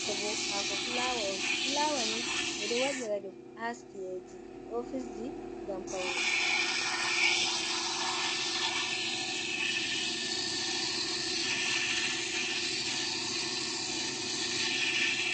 Hako fulawa on ,flawani bedo wada dum ha chiaji office ji gam paune.